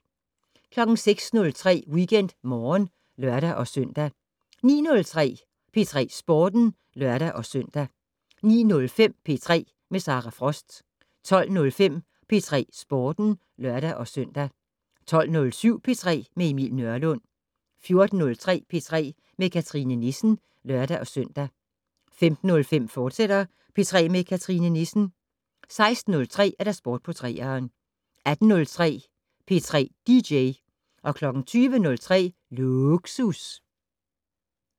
06:03: WeekendMorgen (lør-søn) 09:03: P3 Sporten (lør-søn) 09:05: P3 med Sara Frost 12:05: P3 Sporten (lør-søn) 12:07: P3 med Emil Nørlund 14:03: P3 med Cathrine Nissen (lør-søn) 15:05: P3 med Cathrine Nissen, fortsat 16:03: Sport på 3'eren 18:03: P3 dj 20:03: Lågsus